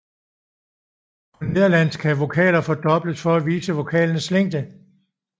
På nederlandsk kan vokaler fordobles for at vise vokalens længde